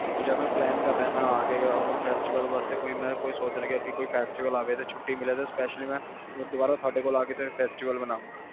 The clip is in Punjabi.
ਹੁਣ ਜੇ ਮੈਂ plan ਕਰ ਰਿਹਾ festival ਵਾਸਤੇ ਮੈਂ ਸੋਚ ਰਿਹਾ ਕਿ ਛੁੱਟੀ ਮਿਲੇ ਤਾ ਮੈਂ ਦੁਬਾਰਾ ਤੁਹਾਡੇ ਕੋਲ ਆ festival ਮਨਾਵਾ